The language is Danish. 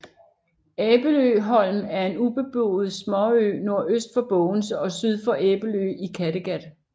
Æbeløholm er en ubeboet småø nordøst for Bogense og syd for Æbelø i Kattegat